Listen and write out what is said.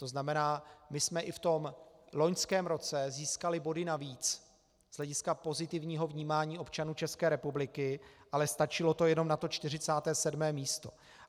To znamená, my jsme i v tom loňském roce získali body navíc z hlediska pozitivního vnímání občanů České republiky, ale stačilo to jenom na to 47. místo.